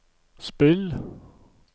spill